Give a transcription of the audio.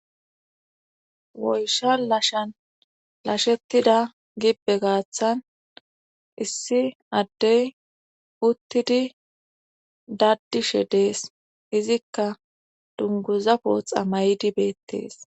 Woysha lashan lashettida gibbe gaaththan issi addey uttidi daddishe dees izikka dunguza pooxa may7di beettees